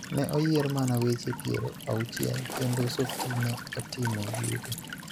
ne oyier mana weche piero auchiel kendo Softie ne otimo oyuto.